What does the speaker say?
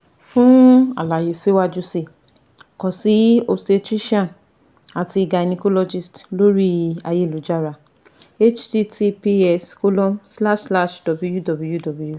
fun alaye siwaju sii kan si obstetrician ati gynecologist lori ayelujara https colon slash slash www